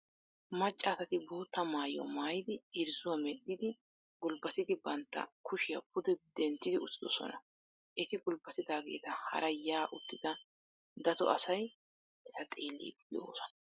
Maccaasati bootta maayuwa maayidi irzzuwa medhdhidi gulbbatidi bantta kushiya pude duntti uttidosona. Eti gulbbatigeeta haara yaa uttidi dato asay eta xeelliiddi de'oosona.